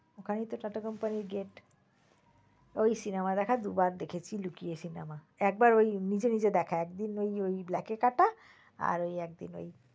ওখানে তো TATA কোম্পানির gate । ওই cinema দেখা দুবার দেখেছি লুকিয়ে cinema একবার নিজে নিজে দেখা একদিন ঐ black এ কাটা আর ওই এক দিন ওই